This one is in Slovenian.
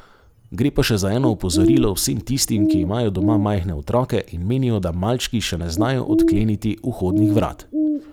Gre pa za še eno opozorilo vsem tistim, ki imajo doma majhne otroke in menijo, da malčki še ne znajo odkleniti vhodnih vrat.